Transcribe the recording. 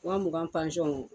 Wa mugan